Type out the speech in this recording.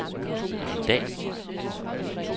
i dag